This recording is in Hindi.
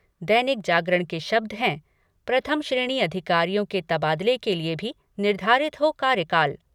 दैनिक जागरण के शब्द हैं प्रथम श्रेणी अधिकारियों के तबादले के लिए भी निर्धारित हो कार्यकाल।